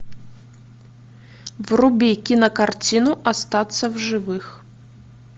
вруби кинокартину остаться в живых